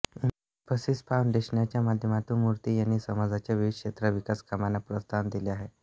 इन्फोसिस फाऊंडेशनच्या माध्यमातून मूर्ती यांनी समाजाच्या विविध क्षेत्रांत विकासकामांना प्रोत्साहन दिले आहे